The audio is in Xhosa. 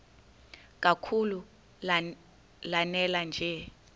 kakhulu lanela nje